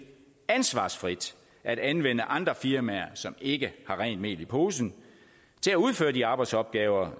ansvarsfrit at anvende andre firmaer som ikke har rent mel i posen til at udføre de arbejdsopgaver